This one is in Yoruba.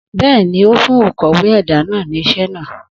Bẹ́ẹ̀ni, ó fún òkọ̀wé ẹ̀dà náà ní iṣẹ́ náà.